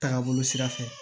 Taaga bolo sira fɛ